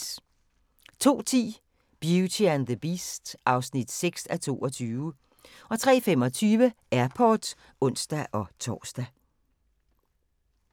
02:10: Beauty and the Beast (6:22) 03:25: Airport (ons-tor)